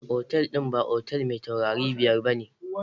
Otal din ba otel mai taurari biyar ba ne.